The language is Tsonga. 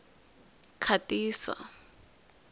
khatisa